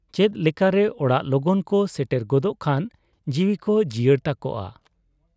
ᱪᱮᱫ ᱞᱮᱠᱟᱨᱮ ᱚᱲᱟᱜ ᱞᱚᱜᱚᱱ ᱠᱚ ᱥᱮᱴᱮᱨ ᱜᱚᱫᱚᱜ ᱠᱷᱟᱱ ᱡᱤᱣᱤᱠᱚ ᱡᱤᱭᱟᱹᱲ ᱛᱟᱠᱚᱣᱟ ᱾